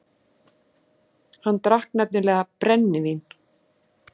Hann drakk nefnilega BRENNIVÍN.